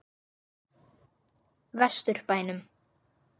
Vestur bænum.